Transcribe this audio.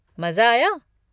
मज़ा आया?